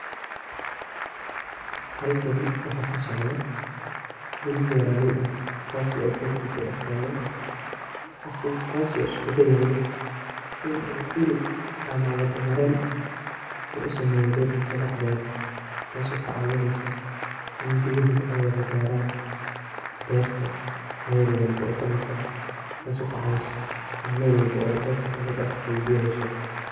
Halkani wax kasocdo, nin beraley ah, kasi oo bertisa daxtagan, kasi oo iskudayayo, in u il ama wado maren u u sameyo bertisa daxded, taso kacawineyso in biyu ay wada garaan berta mel walba oo kamid ah, taso lacawiso in mel walbo oo berta kamid eh ay biya xesho.